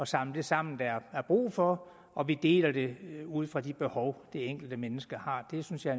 samle det sammen der er brug for og vi deler det ud fra de behov det enkelte menneske har det synes jeg